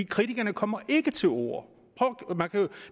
kritikerne kommer ikke til orde